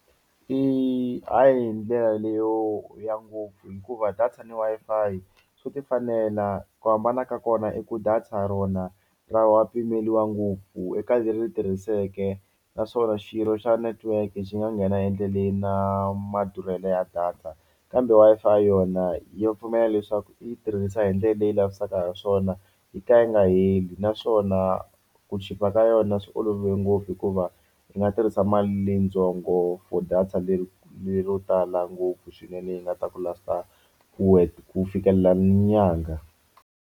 I ha yi hi ndlela leyo ya ngopfu hikuva data ni Wi-Fi swo ti fanela ku hambana ka kona i ku data rona ra wa pimeliwa ngopfu eka leri tirhiseke naswona xirho xa netiweke xi nga nghena endleleni na madurhelo ya data, kambe Wi-Fi yona ya pfumela leswaku i yi tirhisa hi ndlela leyi lavisaka ha swona yi ka yi nga heli naswona ku chipa ka yona swi olove ngopfu hikuva i nga tirhisa mali leyitsongo for data lero tala ngopfu swinene yi nga ta ku last-a ku fikelela ni nyangha.